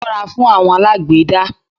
Ṣó ra fún àwọn alágbèédá